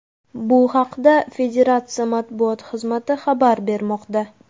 Bu haqda federatsiya matbuot xizmati xabar bermoqda.